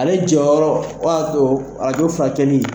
Ale jɔyɔrɔ o y'a to arajo furakɛli.